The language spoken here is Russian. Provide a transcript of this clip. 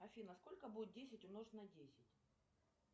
афина сколько будет десять умножить на десять